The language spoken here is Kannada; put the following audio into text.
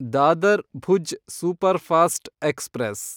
Dadar Bhuj superfast express